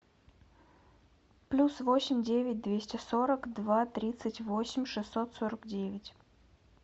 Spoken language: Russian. плюс восемь девять двести сорок два тридцать восемь шестьсот сорок девять